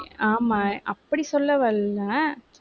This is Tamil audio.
ஆமா அப்படி சொல்ல வரலை